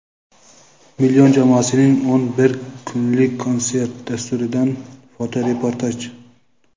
"Million" jamoasining o‘n bir kunlik konsert dasturidan fotoreportaj.